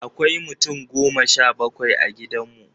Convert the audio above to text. Akwai mutum goma sha bakwai a gidan mu.